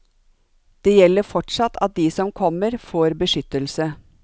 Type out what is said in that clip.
Det gjelder fortsatt at de som kommer får beskyttelse.